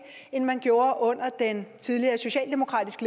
end man gjorde under den tidligere socialdemokratisk